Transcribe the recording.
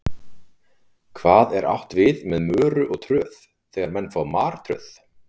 Hvað er átt við með möru og tröð þegar menn fá martröð?